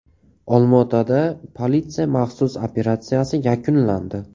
Olmaotada politsiya maxsus operatsiyasi yakunlandi.